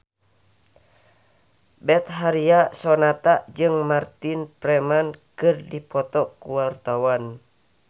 Betharia Sonata jeung Martin Freeman keur dipoto ku wartawan